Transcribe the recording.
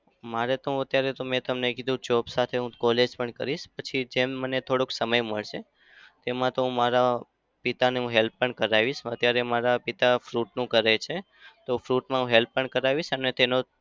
મારે તો હું અત્યારે તો મેં તમને કીધું job સાથે હું college પણ કરીશ. પછી જેમ મને થોડો સમય મળશે એમાં તો મારા પિતાને હું help પણ કરાવીશ. અત્યારે મારા પિતા fruit નું કરે છે. તો fruit માં help પણ કરાવીશ અને તેનો